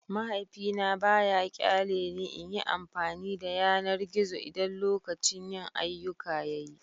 Mahaifina ba ya ƙyale ni in yi amfani da yanar gizo idan lokacin yin ayyuka ya yi.